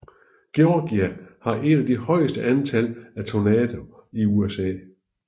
Georgia har et af de højeste antal af tornadoer i USA